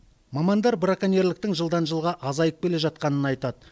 мамандар браконьерліктің жылдан жылға азайып келе жатқанын айтады